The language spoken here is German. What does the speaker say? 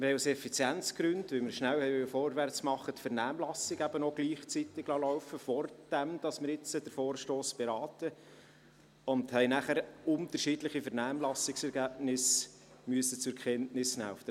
Aus Effizienzgründen, weil wir schnell vorwärtsmachen wollten, liessen wir die Vernehmlassung eben auch gleichzeitig laufen, bevor wir jetzt den Vorstoss beraten und nachher unterschiedliche Vernehmlassungsergebnisse zur Kenntnis nehmen müssen.